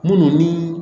Munnu ni